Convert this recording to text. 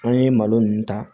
An ye malo ninnu ta